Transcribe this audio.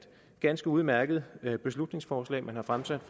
ganske udmærket beslutningsforslag man har fremsat